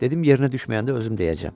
Dedim, yerinə düşməyəndə özüm deyəcəm.